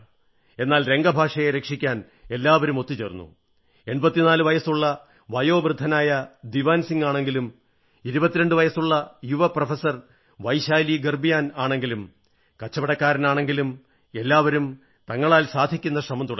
എന്നാൽ രംഗ ഭാഷയെ രക്ഷിക്കാൻ എല്ലാവരും ഒത്തുചേർന്നു 84 വയസ്സുള്ള വയോവൃദ്ധനായ ദീവാൻ സിംഗാണെങ്കിലും 22 വയസ്സുള്ള യുവ പ്രൊഫസർ വൈശാലീ ഗർബ്യാൽ ആണെങ്കിലും കച്ചവടക്കാരാണെങ്കിലും എല്ലാവരും തങ്ങളാൽ സാധിക്കുന്ന ശ്രമം തുടങ്ങി